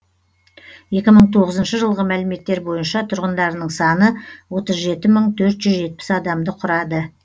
екі мың тоғызыншы жылғы мәліметтер бойынша тұрғындарының саны отыз жеті мың төрт жүз жетпіс адамды құрады